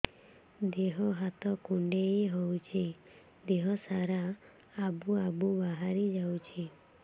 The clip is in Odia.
ଦିହ ହାତ କୁଣ୍ଡେଇ ହଉଛି ଦିହ ସାରା ଆବୁ ଆବୁ ବାହାରି ଯାଉଛି